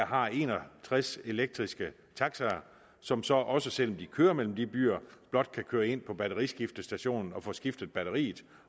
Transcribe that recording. har en og tres elektriske taxaer som så også selv om de kører mellem de byer blot kan køre ind på batteriskiftestationen og få skiftet batteriet